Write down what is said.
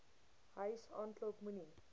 huis aanklop moenie